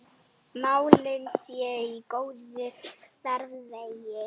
Málin séu í góðum farvegi.